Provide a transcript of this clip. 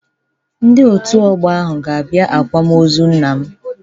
Ndị Òtù Ọgbọ ahụ ga-abịa àkwámoozu nna m.